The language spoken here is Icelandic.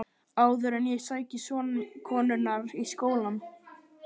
Áður en ég sæki son konunnar í skólann.